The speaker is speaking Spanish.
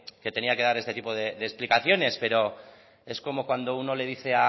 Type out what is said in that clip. que tenía que dar este tipo de explicaciones pero es como cuando uno le dice